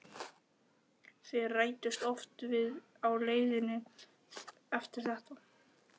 Þeir ræddust oft við á leiðinni eftir þetta.